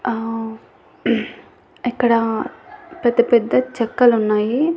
ఆ ఇక్కడ పెద్ద పెద్ద చెక్కలు ఉన్నాయి.